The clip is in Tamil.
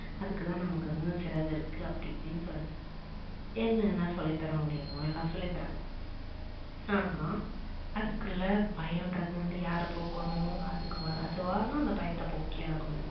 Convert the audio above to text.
அதுக்கு தான் நமக்கு இன்னொரு சிறகு இருக்கு அப்படி இப்படின்னு சொல்லிட்டு என்னென்ன சொல்லி தர முடியுமோ எல்லாம் சொல்லி தராங்க. ஆனா அதுக்குள்ள பயோன்றது வந்து யாரு போக்கனோம் அதுவா தான் அந்த பயத்த போக்கி ஆகணும்